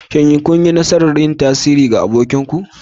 Shin kun yi nasarar yin tasiri ga abokinku.